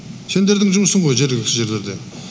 сендердің жұмысың ғой жергілікті жерлерде